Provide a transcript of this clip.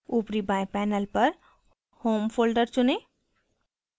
ऊपरी बाएं panel पर home folder चुनें